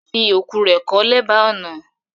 Fi oku rẹ̀ ko lèba ọ̀nà!